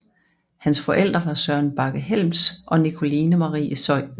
Hans forældre var Søren Bagge Helms og Nicoline Marie Zeuthen